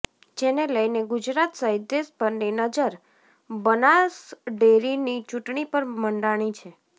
જેને લઈને ગુજરાત સહિત દેશભરની નજર બનાસડેરીની ચૂંટણી પર મંડાણી છે